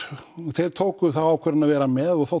þeir tóku þá ákvörðun að vera með og